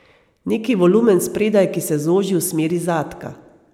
Neki volumen spredaj, ki se zoži v smeri zadka.